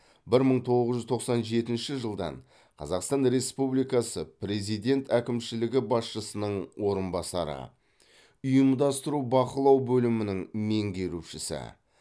бір мың тоғыз жүз тоқсан жетінші жылдан қазақстан республикасы президент әкімшілігі басшысының орынбасары ұйымдастыру бақылау бөлімінің меңгерушісі